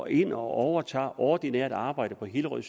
ind og overtog ordinært arbejde på hillerød